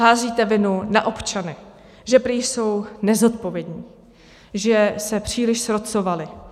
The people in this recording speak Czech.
Házíte vinu na občany, že prý jsou nezodpovědní, že se příliš srocovali.